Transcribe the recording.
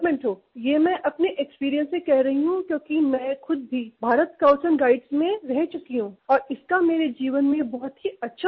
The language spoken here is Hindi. ये मैं अपने एक्सपीरियंस से कह रही हूँ क्योंकि मैं खुद भी भारत स्काउट्स एंड गाइड्स में रह चुकी हूँ और इसका मेरे जीवन में बहुत ही अच्छा प्रभाव पड़ा